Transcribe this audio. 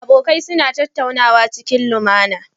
Abokai suna tattaunawa cikin limAna